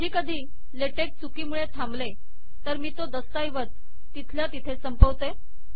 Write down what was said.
कधीकधी लेटेक चुकीमुळे थांबले तर मी तो दस्तऐवज तिथल्या तिथे संपवते